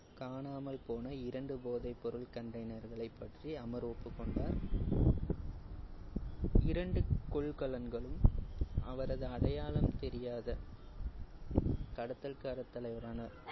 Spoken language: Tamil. காணாமல் போன இரண்டு போதைப்பொருள் container களை பற்றி அமர் ஒப்புக்கொண்டார். இரண்டு கொள்கலன்களும் அவரது அடையாளம் தெரியாத கடத்தல்கார தலைவரான